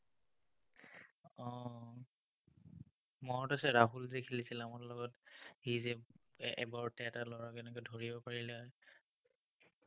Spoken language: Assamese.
মনত আছে ৰাহুল যে খেলিছিল আমাৰ লগত, সি যে এবাৰতে এটা ল'ৰাক এনেকে ধৰিব পাৰিলে?